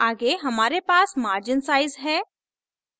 आगे हमारे पास margin sizes हैं